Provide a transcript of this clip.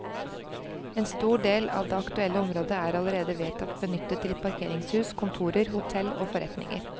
En stor del av det aktuelle området er allerede vedtatt benyttet til parkeringshus, kontorer, hotell og forretninger.